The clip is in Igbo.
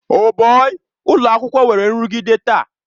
Oh bọi! ụlọ akwụkwọ nwere nrụgide taa.